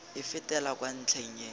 e fetela kwa ntlheng e